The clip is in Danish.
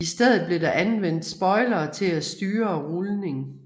I stedet blev der anvendt spoilere til at styre rulning